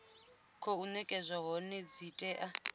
khou nekedzwa hone dzi tea